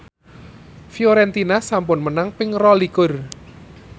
Fiorentina sampun menang ping rolikur